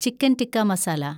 chicken tikka masala